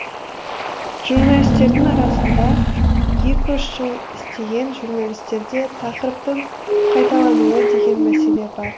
журналистердің арасында екі үш жыл істеген журналистерде тақырыптың қайталануы деген мәселе бар